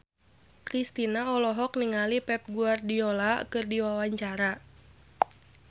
Kristina olohok ningali Pep Guardiola keur diwawancara